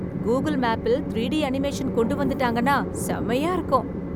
Google மேப்பில் three D animation கொண்டு வந்துட்டாங்கன்னா செமையா இருக்கும்